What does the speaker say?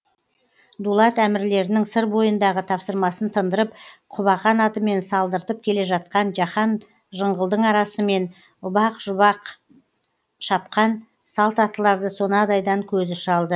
дулат әмірлерінің сыр бойындағы тапсырмасын тындырып құбақан атымен салдыртып келе жатқан жаһан жыңғылдың арасымен ұбақ шұбақ шапқан салт аттыларды сонадайдан көзі шалды